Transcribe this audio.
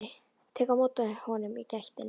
Tek á móti honum í gættinni.